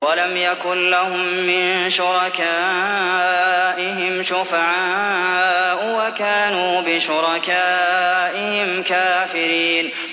وَلَمْ يَكُن لَّهُم مِّن شُرَكَائِهِمْ شُفَعَاءُ وَكَانُوا بِشُرَكَائِهِمْ كَافِرِينَ